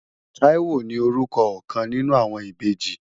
Táíwò ni orúkọ ọ̀kan nínú àwọn ìbejì.